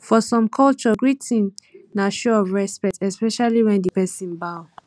for some culture greeting na show of respect especially when di person bow